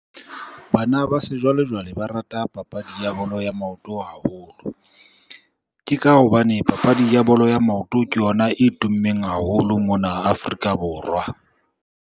Bana ba sejwalejwale ba rata papadi ya bolo ya maoto haholo. Ke ka hobane papadi ya bolo ya maoto ke yona e tummeng haholo mona Afrika Borwa.